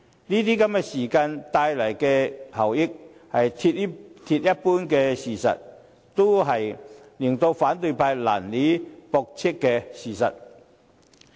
這些時間所帶來的效益，是鐵一般的事實，也是反對派難以駁斥的事實。